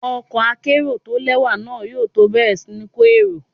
Ọkọ̀ akérò tó lẹ́wà náà yóò tó bẹ̀rẹ̀ sí ní kó èrò.